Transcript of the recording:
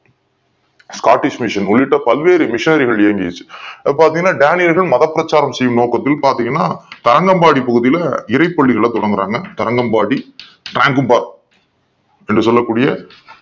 Scottish Mission உள்ளிட்ட பல்வேறு மெஷின்கள் இருந்துச்சு பார்த்தீங்கன்னா டேனியலும் மதப் பிரச்சாரம் நோக்கத்தில் பார்த்தீங்கன்னா கரணம் பாடி பகுதியில இறைப் பள்ளிகள துவங்குறாங்க கரணம் பாடி என்று சொல்லக்கூசிய